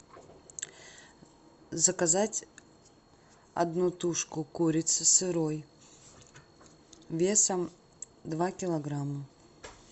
заказать одну тушку курицы сырой весом два килограмма